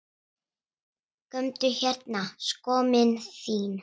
Komdu hérna skömmin þín!